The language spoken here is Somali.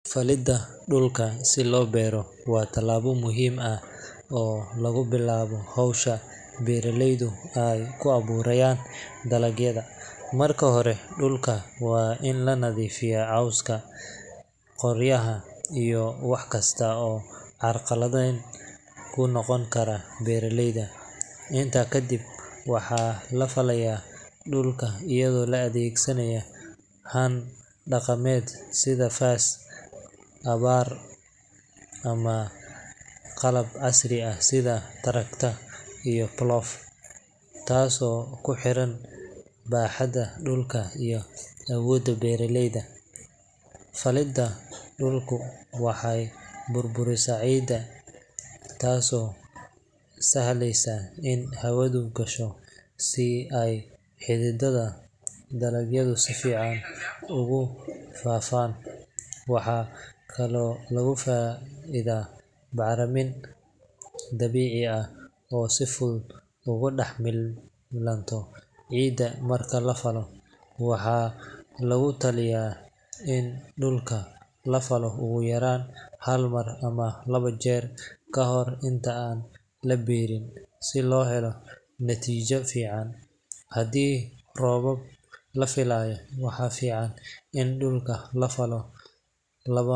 Falida dhulka si loo beero waa tallaabo muhiim ah oo lagu bilaabo hawsha beeraleydu ay ku abuurayaan dalagyada. Marka hore, dhulka waa in laga nadiifiyaa cawska, qoryaha, iyo wax kasta oo carqalad ku noqon kara beeraleyda. Intaa ka dib, waxaa la falayaa dhulka iyadoo la adeegsanayo haan dhaqameed sida faas, abbaar ama qalab casri ah sida tractor iyo plough, taasoo ku xiran baaxadda dhulka iyo awoodda beeraleyda. Falidda dhulku waxay burburisaa ciidda, taasoo sahasha in hawadu gasho si ay xididada dalagyadu si fiican ugu faafaan. Waxaa kaloo lagu faa’iido bacriminta dabiiciga ah oo si fudud ugu dhex milanta ciidda marka la falo. Waxaa lagula talinayaa in dhulka la falo ugu yaraan hal mar ama laba jeer ka hor inta aan la beerin si loo helo natiijo fiican. Haddii roobab la filayo, waxaa fiican in dhulka la falo laba.